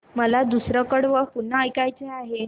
मला दुसरं कडवं पुन्हा ऐकायचं आहे